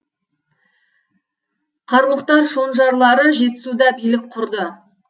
қарлұқтар шонжарлары жетісуда билік құрды